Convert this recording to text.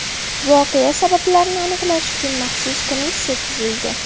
Voqea sabablarini aniqlash uchun maxsus komissiya tuzildi.